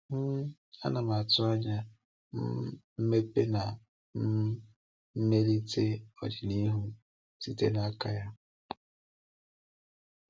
um Ana m atụ anya um mmepe na um mmelite n’ọdịnihu site n’aka ya.